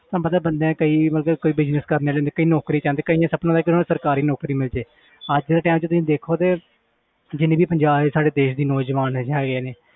ਤੁਹਾਨੂੰ ਪਤਾ ਬੰਦੇ ਕਈ ਮਤਲਬ ਕਿ ਕੋਈ business ਕਰਨ ਵਾਲੇ ਹੁੰਦੇ ਕਈ ਨੌਕਰੀ ਚਾਹੁੰਦੇ ਕਈਆਂ ਦਾ ਸੁਪਨਾ ਹੁੰਦਾ ਕਿ ਉਹਨੂੰ ਸਰਕਾਰੀ ਨੌਕਰੀ ਮਿਲ ਜਾਏ ਅੱਜ ਦੇ time 'ਚ ਤੁਸੀਂ ਦੇਖੋ ਤੇ ਜਿੰਨੇ ਵੀ ਪੰਜਾਬ ਦੇ ਸਾਡੇ ਦੇਸ ਦੇ ਨੌਜਵਾਨ ਹੈਗੇ ਨੇ